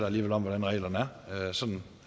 alligevel om hvordan reglerne er sådan